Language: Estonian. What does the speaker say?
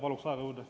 Palun aega juurde!